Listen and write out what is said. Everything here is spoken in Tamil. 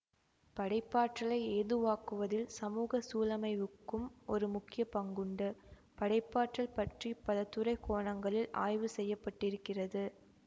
படைப்பாற்றலை ஏதுவாக்குவதில் சமூக சூழமைவுக்கும் ஒரு முக்கிய பங்குண்டு படைப்பாற்றல் பற்றி பல துறை கோணங்களில் ஆய்வு செய்ய பட்டிருக்கிறது